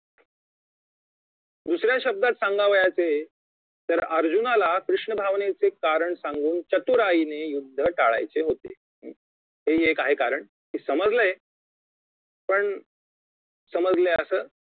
दुसऱ्या शब्दात सांगावयाचे तर अर्जुनाला कृष्ण भावनेचे कारण सांगून चतुराईने युद्ध टाळायचे होते हे एक आहे कारण की समजलंय पण समजलंय असं